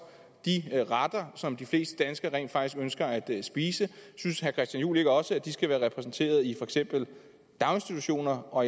de retter som de fleste danskere rent faktisk ønsker at spise synes herre christian juhl ikke også at de skal være repræsenteret i for eksempel daginstitutioner og